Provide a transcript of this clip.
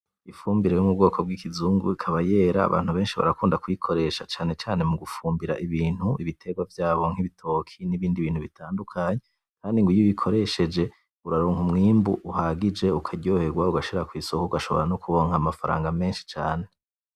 Imfumbire yo mubwoko bw'ikizungu ikaba yera abantu benshi barakunda kuyikoresha cane cane mugumfumbira ibintu ibiterwa vyabo ibitoke nibindi bintu bitadukanye, kandi iyo uyikoresheje uraronka umwimbu uhagije, ukaryoherwa ugashira kwisoko ugashobora nokuronka amafranga menshi cane.